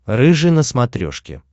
рыжий на смотрешке